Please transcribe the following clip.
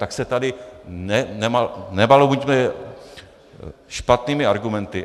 Tak se tady nebalamuťme špatnými argumenty.